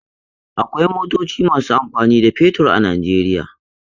Akwai motoci masu amfani da fetur a Najeriya.